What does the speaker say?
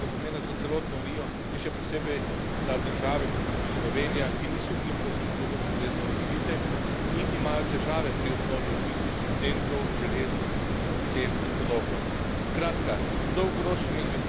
Razvoj infrastrukture je namreč izjemnega pomena za celotno Unijo in še posebej za države, kot je tudi Slovenija, ki niso infrastrukturno ustrezno razvite in imajo težave pri obnovi logističnih centrov, železnic, cest in podobno.